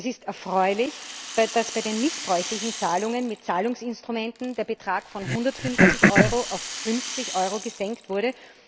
Es ist erfreulich, dass bei den missbräuchlichen Zahlungen mit Zahlungsinstrumenten der Betrag von 150 Euro auf 50 Euro gesenkt wurde.